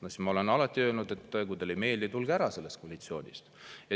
No siis ma olen alati öelnud, et kui teile ei meeldi, tulge ära sellest koalitsioonist.